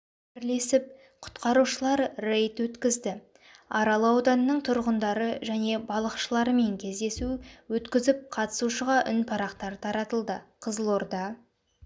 бірлесіп құтқарушылар рейд өткізді арал ауданының тұрғындары және балықшыларымен кездесу өткізіп қатысушыға үнпарақтар таратылды қызылорда